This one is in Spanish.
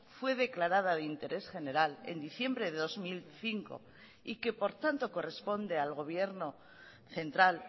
fue declarada de interés general en diciembre de dos mil cinco y que por tanto corresponde al gobierno central